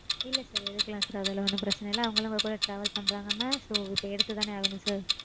இல்ல sir எடுக்கலாம் sir. அதெல்லாம் ஒன்னும் பிரச்சினை இல்ல. அவங்களும் உங்க கூட travel பண்றாங்கனா So இப்போ எடுத்துதான ஆகனும் sir.